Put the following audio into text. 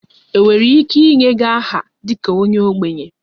Enwere ike inye gị aha dị ka onye ogbenye?